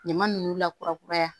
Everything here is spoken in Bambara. Ɲama ninnu lakura kuraya